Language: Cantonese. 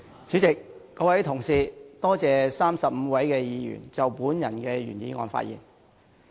主席，各位同事，我感謝35位議員就我的原議案發言。